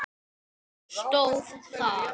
stóð þar.